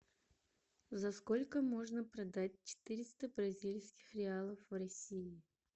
за сколько можно продать четыреста бразильских реалов в россии